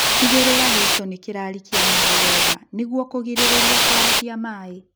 Tigĩrĩra gĩito nĩkĩrarikia maĩĩ wega nĩguo kũgirĩrĩria kũarahia maĩĩ